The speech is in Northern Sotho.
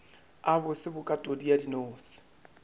a bose bokatodi ya dinose